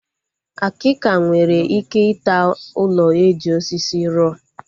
Akika nwere ike ịta ụlọ eji osisi ruo